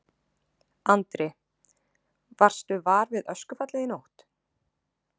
Andri: Varstu var við öskufallið í nótt?